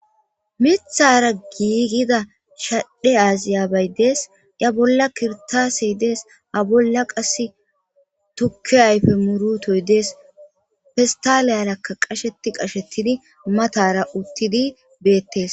Mithara giigida shadhe aaziya baydees. A bolla kirtasey dees; a bolla qas tukke ayfe murutoy dees; fistaleyarakka qasheti qashettidi matara uttidi beettes.